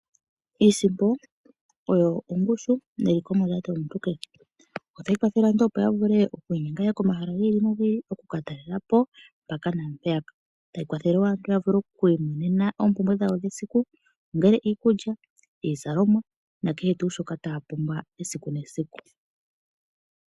Iisimpo oyo ongushu neliko mondjato yomuntu kehe. Otayi kwathele aantu opoya vule oku inyenga yaye komahala gi ili nogi ili, oku katalelapo mpaka nampeyaka, tayi kwathelewo aantu oku imonena oompumbwe dhawo dhesiku ongele iikulya, iizalomwa nakehe tu shoka taya pumbwa esiku nesiku.